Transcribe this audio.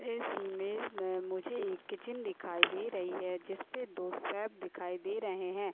इस इमेज में मुझे एक किचन दिखाई दे रही है जिसपे दो शेफ दिखाई दे रहे है।